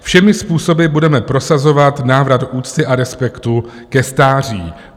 - Všemi způsoby budeme prosazovat návrat úcty a respektu ke stáří.